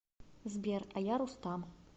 сбер а я рустам